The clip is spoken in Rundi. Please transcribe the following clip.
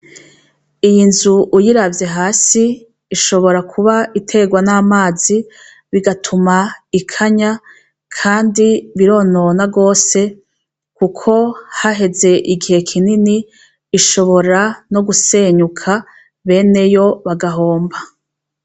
Iyi nzu uyiravye hasi ishobora kuba iterwa n'amazi bigatuma ikanya kandi bironona gose kuko haheze igihe kinini ishobora no gusenyuka beneyo bagahomba.